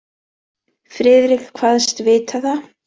Friðrik kvaðst vita það.